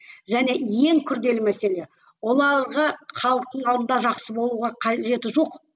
және ең күрделі мәселе оларға халықтың алдында жақсы болуға қажеті жоқ